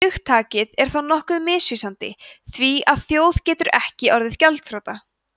hugtakið er þó nokkuð misvísandi því að þjóð getur ekki orðið gjaldþrota